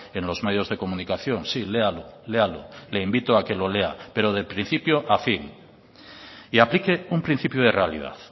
en los medios de comunicación sí léalo léalo le invito a que lo lea pero de principio a fin y aplique un principio de realidad